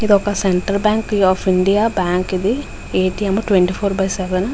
ఇది ఒక central bank of India bank ఇది ATM twenty four by seven --